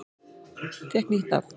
Fékk nýtt nafn